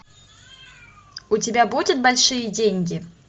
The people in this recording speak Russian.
у тебя будет большие деньги